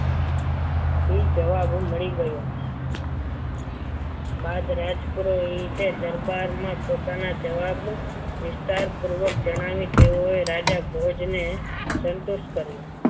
થી જવાબ મળી ગયો બાદ રાજ પુરોહિતે પોતાના દરબારમાં જવાબ વિસ્તારપૂર્વક જણાવી તેઓએ રાજા ભોજ ને સંતુષ્ટ કર્યો.